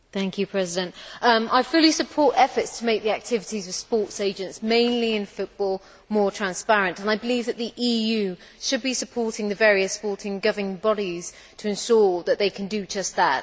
Mr President, I fully support efforts to make the activities of sports agents, mainly in football, more transparent and I believe that the EU should be supporting the various sporting governing bodies to ensure that they can do just that.